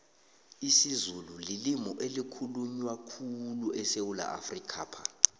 isizulu lilimi elikhulunywa khulyu esewula afrikapha